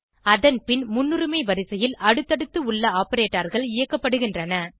அதன் பின் முன்னரிமை வரிசையில் அடுத்தடுத்து உள்ள operatorகள் இயக்கப்படுகின்றன